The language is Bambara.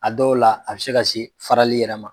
A dɔw la a bɛ se ka se farali yɛrɛ ma